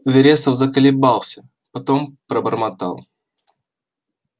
вересов заколебался потом пробормотал